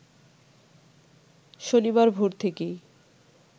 শনিবার ভোর থেকেই